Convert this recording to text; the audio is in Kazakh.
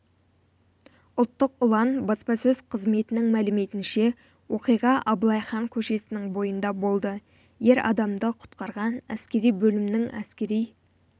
ұлттық ұлан баспасөз қызметінің мәліметінше оқиғаабылай хан көшесінің бойында болды ер адамды құтқарған әскери бөлімінің әскери